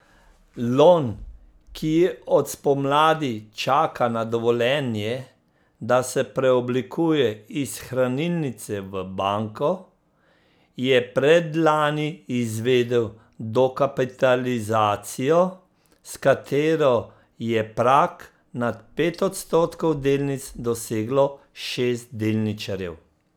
Lon, ki od spomladi čaka na dovoljenje, da se preoblikuje iz hranilnice v banko, je predlani izvedel dokapitalizacijo, s katero je prag nad pet odstotkov delnic doseglo šest delničarjev.